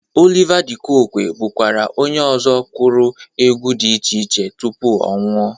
Oliva dị Kokwe bụkwa onye ọzọ kụrụ egwu dị iche iche tupu ọ nwụọ.